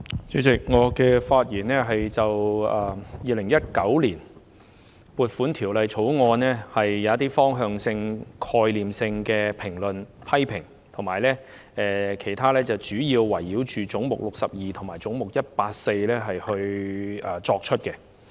主席，我會就《2019年撥款條例草案》提出一些方向性、概念性的評論和批評，其餘主要圍繞總目62和總目184發言。